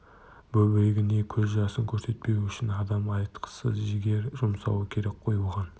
бөбегіне көз жасын көрсетпеу үшін адам айтқысыз жігер жұмсауы керек қой оған